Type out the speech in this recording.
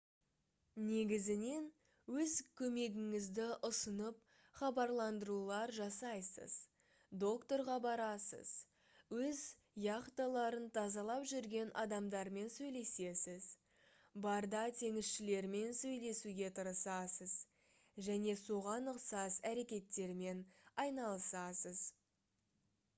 негізінен өз көмегіңізді ұсынып хабарландырулар жасайсыз доктарға барасыз өз яхталарын тазалап жүрген адамдармен сөйлесесіз барда теңізшілермен сөйлесуге тырысасыз және соған ұқсас әрекеттермен айналысасыз